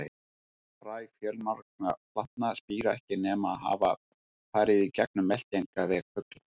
Fræ fjölmargra plantna spíra ekki nema hafa farið í gegnum meltingarveg fugla.